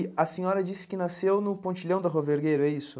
E a senhora disse que nasceu no pontilhão da Rua Vergueiro, é isso?